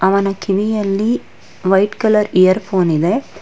ಅವನ ಕಿವಿಯಲ್ಲಿ white colour earphone ಇದೆ.